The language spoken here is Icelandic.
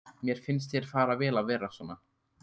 Mér finnst þér fara vel að vera svona.